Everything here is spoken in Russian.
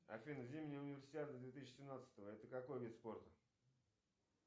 афина зимняя универсиада две тысячи семнадцатого это какой вид спорта